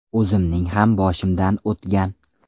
O‘zimning ham boshimdan o‘tgan.